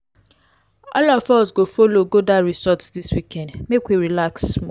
all of us go folo go dat resort dis weekend make we relax small.